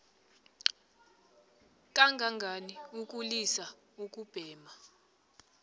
kangangani ukulisa ukubhema